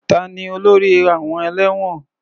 Ta ni olórí àwọn ẹlẹ́wọ̀n?